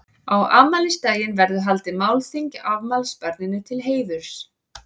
Á afmælisdaginn verður haldið málþing afmælisbarninu til heiðurs.